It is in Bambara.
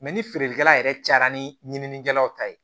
ni feerekɛla yɛrɛ cayara ni ɲininikɛlaw ta ye